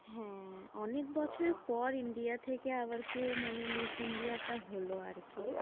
হ্যাঁ, অনেক বছর পর আহ india থেকে আবার কেউ মানে miss india টা হলো আর কি, আরে,